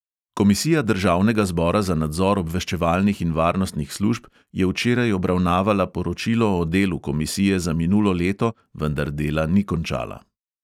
Komisija državnega zbora za nadzor obveščevalnih in varnostnih služb je včeraj obravnavala poročilo o delu komisije za minulo leto, vendar dela ni končala.